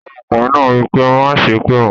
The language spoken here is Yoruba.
Ọmọkùnrin náà wípé "Má á sépè mọ"